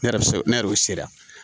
Ne yɛrɛ se ne yɛrɛ sera